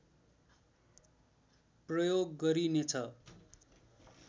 प्रयोग गरिनेछ